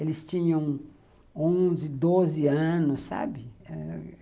Eles tinham onze, doze anos, sabe?